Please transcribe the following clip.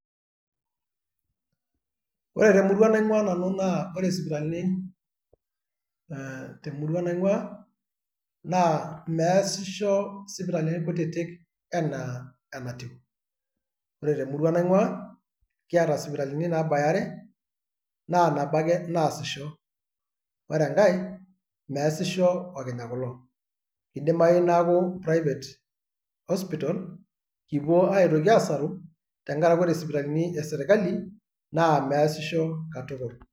Ore temurua naing'ua nanu naa ore sipitalini, eeh temurua naing'ua, naa meesisho sipitalini kutiti enaa enatiu. Ore temurua naing'ua kiata sipitalini naabaya are naa nabo ake naasisho, ore enkae meesisho okinya kulo, idimayu neeku private hospital kipuo aitoki aasaru tenkarake ore sipitalini eserkali naa meesisho katukul.